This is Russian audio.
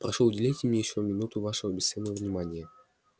прошу уделите мне ещё минуту вашего бесценного внимания